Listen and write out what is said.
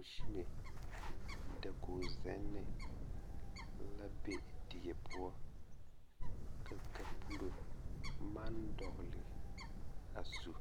Kusime dakogzenne la be die poɔ ka kapuro maŋ dɔgle a zu